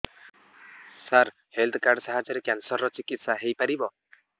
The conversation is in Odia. ସାର ହେଲ୍ଥ କାର୍ଡ ସାହାଯ୍ୟରେ କ୍ୟାନ୍ସର ର ଚିକିତ୍ସା ହେଇପାରିବ